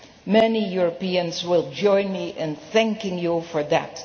Many Europeans will join me in thanking you for that.